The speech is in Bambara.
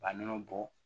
Ka nɔnɔ bɔ